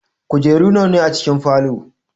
Kujeru nawa ne a cikin falow?